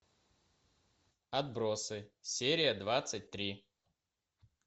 отбросы серия двадцать три